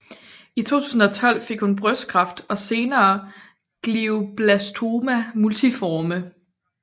I 2002 fik hun brystkræft og senere Glioblastoma multiforme